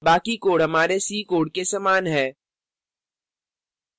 बाकी code हमारे c code के समान है